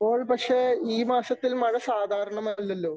ഇപ്പോൾ പക്ഷേ ഈ മാസത്തിൽ മഴ സാധാരണമല്ലല്ലോ?